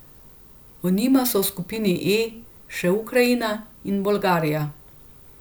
Ob njima so v skupini E še Ukrajina in Bolgarija.